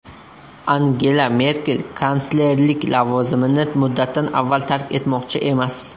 Angela Merkel kanslerlik lavozimini muddatdan avval tark etmoqchi emas.